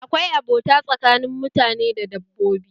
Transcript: Akwai abota tsakanin mutane da dabbobi